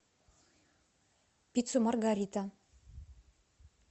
пиццу маргарита